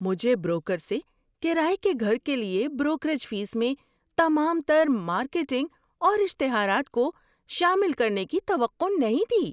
مجھے بروکر سے کرایہ کے گھر کے لیے بروکریج فیس میں تمام تر مارکیٹنگ اور اشتہارات کو شامل کرنے کی توقع نہیں تھی۔